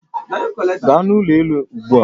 Gaa n'ụlọ elu ugbu a